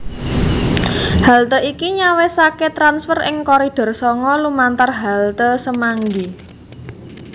Halte iki nyawisake transfer ing Koridor sanga lumantar halte Semanggi